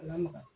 A lamaga